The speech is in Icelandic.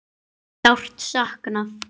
Péturs er sárt saknað.